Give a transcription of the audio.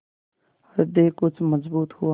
हृदय कुछ मजबूत हुआ